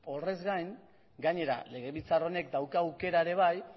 horrez gain gainera legebiltzar honek dauka aukera ere bai